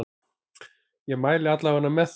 Ég mæli alla vega með því.